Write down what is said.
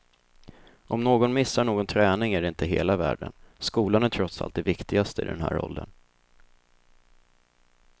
Om någon missar någon träning är det inte hela världen, skolan är trots allt det viktigaste i den här åldern.